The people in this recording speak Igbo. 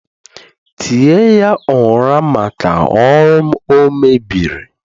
tie ya ụra maka ọrụ m o mebieri